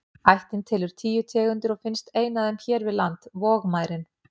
Ættin telur tíu tegundir og finnst ein af þeim hér við land, vogmærin.